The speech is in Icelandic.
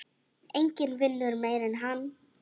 Enginn vinnur meira en hann.